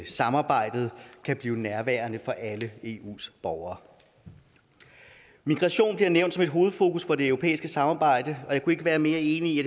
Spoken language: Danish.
samarbejdet kan blive nærværende for alle eus borgere migration bliver nævnt som et hovedfokus for det europæiske samarbejde og jeg kunne ikke være mere enig i